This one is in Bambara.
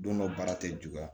Don dɔ baara tɛ juguya